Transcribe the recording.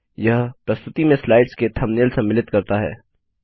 यह प्रस्तुति में स्लाइड्स के थम्बनेल सम्मिलित करता है